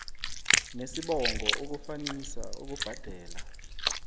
nesibongo ukufanisa ukubhadela